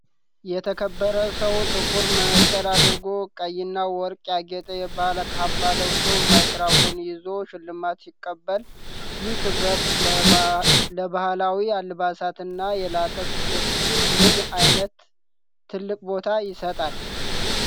የተከበረ ሰው ጥቁር መነፅር አድርጎ፣ ቀይና ወርቅ ያጌጠ የባህል ካባ ለብሶ ማይክሮፎን ይዞ ሽልማት ሲቀበል፣ ይህ ክብር ለባህላዊው አልባሳትና የላቀ ስኬት ምን ዓይነት ትልቅ ቦታ ይሰጣል